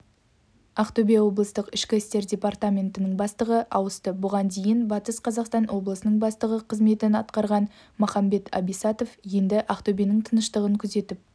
ақтөбе облыстық ішкі істер департаментінің бастығы ауысты бұған дейін батыс қазақстан облысының бастығы қызметін атқарған махамбет абисатов енді ақтөбенің тыныштығын күзетіп